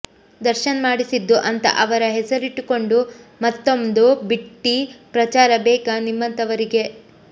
ದರ್ಶನ್ ಮಾಡಿಸಿದ್ದು ಅಂತ ಅವರ ಹೆಸರಿಟ್ಟುಕೊಂಡು ಮತ್ತೊಂದು ಬಿಟ್ಟಿ ಪ್ರಚಾರ ಬೇಕಾ ನಿಮ್ಮಂಥವರಿಗೆ